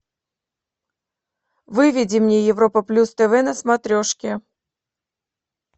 выведи мне европа плюс тв на смотрешке